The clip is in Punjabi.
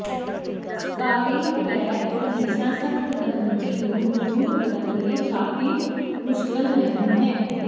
ਸਕਾਰਿੰਗ ਪੈਡ ਹਮੇਸ਼ਾ ਸਖਤ ਗੰਦਗੀ ਨੂੰ ਦੂਰ ਕਰਨ ਲਈ ਕਾਫੀ ਮੁਸ਼ਕਲ ਨਹੀਂ ਹੈ